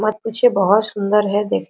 मत पूछिए बहोत सुन्दर हैदेख---